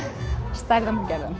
stærðum og gerðum